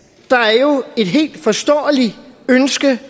i et helt forståeligt ønske